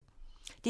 DR1